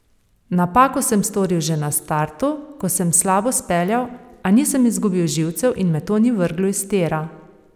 Napako sem storil že na startu, ko sem slabo speljal, a nisem izgubil živcev in me to ni vrglo iz tira.